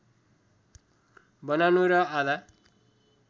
बनाउनु र आधा